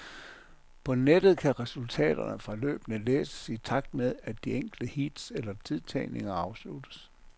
På nettet kan resultaterne fra løbene læses i takt med at de enkelte heats eller tidtagninger afsluttes.